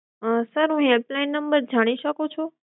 હમ sir હું helpline number જાણી શકું છું?